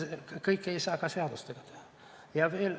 Kõike ei saa ka seadustega teha.